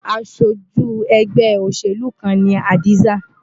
Aṣojú ẹgbẹ́ òṣèlú kan ni Hadiza.